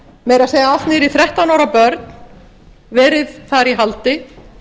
meira að segja allt niður í þrettán ára börn verið þar í haldi